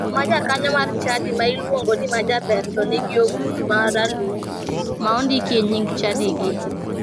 Chuo ma jokanyo mar chadi ma iluongo ni majaber to nigi ogudu ma ralum ma ondikie nying chadigi.